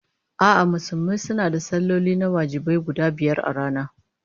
A'a, Musulmi suna da salloli na wajibai guda biyar a rana